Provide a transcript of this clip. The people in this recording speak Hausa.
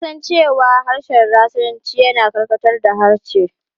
An san cewa harshen Rashanci yana karkatar da harshe.